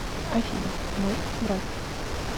афина мой брат